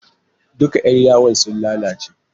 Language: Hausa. Duka yar yawon sun lalace